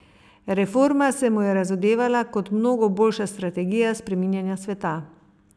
Reforma se mu je razodevala kot mnogo boljša strategija spreminjanja sveta.